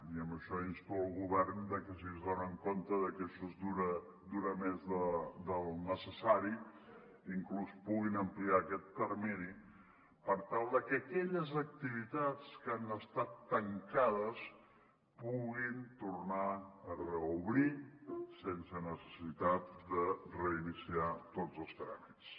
i amb això insto el govern a que si s’adonen que això dura més del necessari inclús puguin ampliar aquest termini per tal de que aquelles activitats que han estat tancades puguin tornar a reobrir sense necessitat de reiniciar tots els tràmits